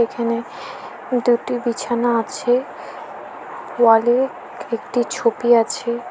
এখানে দুটি বিছানা আছে ওয়াল -এ একটি ছবি আছে।